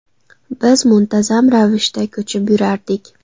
Biz muntazam ravishda ko‘chib yurardik.